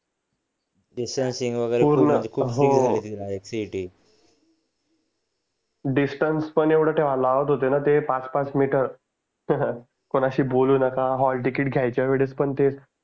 distance पण एवढं ठेवायला लावत होते ना ते पाच पाच मीटर कुणाशी बोलू नका हॉल टीकेत घ्यायच्या वेळेस पण ते